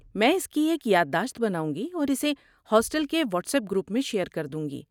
میں اس کی ایک یاد داشت بناؤں گی اور اسے ہاسٹل کے واٹس ایپ گروپ میں شیئر کر دوں گی۔